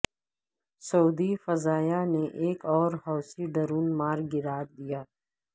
سعودی فضائیہ نے ایک اور حوثی ڈرون مار گرا دیا